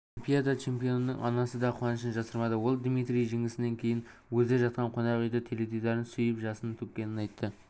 олимпиада чемпионының анасы да қуанышын жасырмады ол дмитрийдің жеңісінен кейін өзі жатқан қонақ үйдің теледидарын сүйіп жасын төккенін айтты